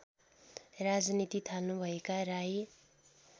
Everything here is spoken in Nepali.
राजनीति थाल्नुभएका राई